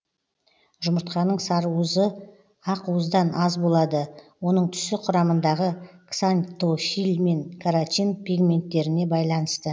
жұмыртқаның сарыуызы ақуыздан аз болады оның түсі құрамындағы ксантофиль мен каротин пигменттеріне байланысты